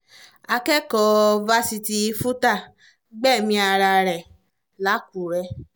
akẹ́kọ̀ọ́ fásitì fútà gbẹ̀mí ara rẹ̀ làkúrẹ́